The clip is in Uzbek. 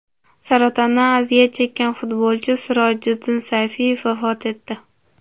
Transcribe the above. Saratondan aziyat chekkan futbolchi Sirojiddin Sayfiyev vafot etdi.